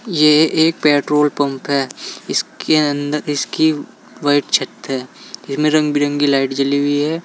ये एक petrol pump है। इसके अंद इसकी व्हाइट छत है। इसमें रंग बिरंगी लाइट जली हुई है।